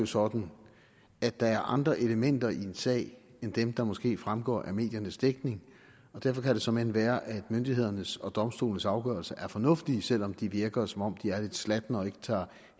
sådan at der er andre elementer i en sag end dem der måske fremgår af mediernes dækning derfor kan det såmænd være at myndighedernes og domstolenes afgørelser er fornuftige selv om de virker som om de er lidt slatne og ikke tager